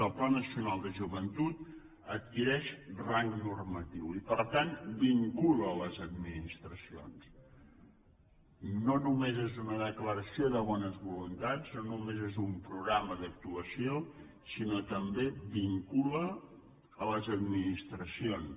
el pla nacional de joventut adquireix rang normatiu i per tant vincula les administracions no només és una declaració de bones voluntats no només és un programa d’actuació sinó que també vincula les administracions